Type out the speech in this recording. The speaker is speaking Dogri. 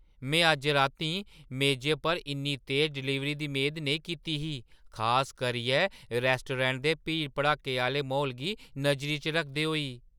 में अज्ज रातीं मेजै पर इन्नी तेज डलीवरी दी मेद नेईं कीती ही, खास करियै रैस्टोरैंट दे भीड़-भड़क्के आह्‌ले म्हौल गी नजरी च रखदे होई।